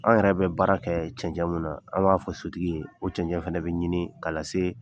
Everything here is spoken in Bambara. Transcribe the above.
An yɛrɛ bɛ baara kɛ cɛncɛn mun na, an b'a fɔ sotigi ye, o cɛncɛn fana bi ɲini k'a lase